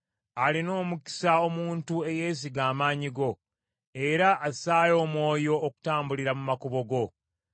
Alina omukisa omuntu eyeesiga amaanyi go, era assaayo omwoyo okutambulira mu makubo go.